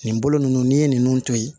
Nin bolo ninnu n'i ye ninnu to ye